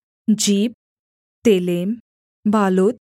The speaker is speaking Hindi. जीप तेलेम बालोत